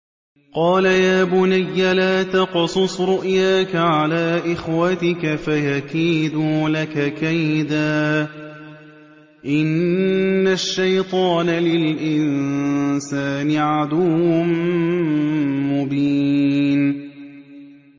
قَالَ يَا بُنَيَّ لَا تَقْصُصْ رُؤْيَاكَ عَلَىٰ إِخْوَتِكَ فَيَكِيدُوا لَكَ كَيْدًا ۖ إِنَّ الشَّيْطَانَ لِلْإِنسَانِ عَدُوٌّ مُّبِينٌ